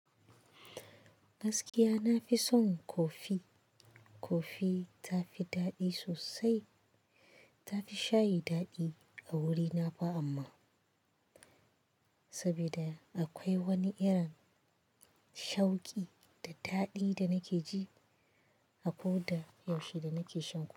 Gaskiya nafi son kofi. Kofi tafi daɗi sosai. Tafi shayi daɗi a wurina ba amma, saboda akwai wani irin shauƙi da daɗi da nake ji akoda yaushe da nake sha.